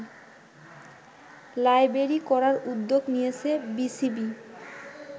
library করার উদ্যোগ নিয়েছে বিসিবি